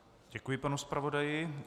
Děkuji panu zpravodaji.